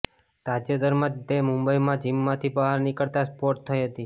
તાજેતરમાં જ તે મુંબઈમાં જિમમાંથી બહાર નીકળતા સ્પોટ થઈ હતી